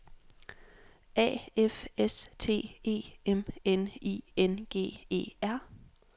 A F S T E M N I N G E R